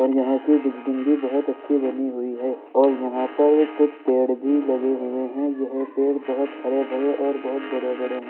और यहाँ की बिल्डिंग भी बहुत अच्छी बनी हुई है और यहाँ पर कुछ पेड़ भी लगे हुए हैं। यह पेड़ बहुत हरे भरे और बहुत बड़े-बड़े हैं।